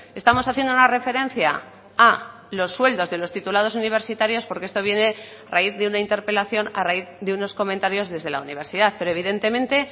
estamos haciendo una referencia a los sueldos de los titulados universitarios porque esto viene a raíz de una interpelación a raíz de unos comentarios desde la universidad pero evidentemente